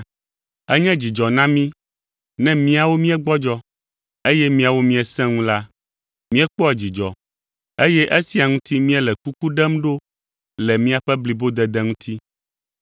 Enye dzidzɔ na mí ne míawo míegbɔdzɔ, eye miawo miesẽ ŋu la, míekpɔa dzidzɔ, eye esia ŋuti míele kuku ɖem ɖo le miaƒe blibodede ŋuti.